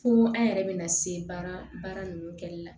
Fo an yɛrɛ bɛna se baara ninnu kɛli la